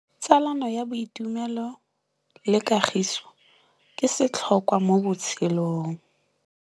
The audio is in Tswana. Tsalano ya boitumelo le kagiso ke setlhôkwa mo botshelong.